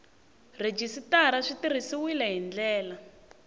rhejisitara swi tirhisiwile hi ndlela